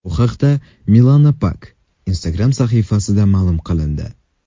Bu haqda Milana Pak Instagram’dagi sahifasida ma’lum qilindi.